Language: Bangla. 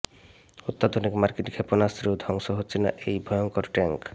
অত্যাধুনিক মার্কিন ক্ষেপণাস্ত্রেও ধ্বংস হচ্ছে না এই ভয়ঙ্কর ট্যাঙ্ক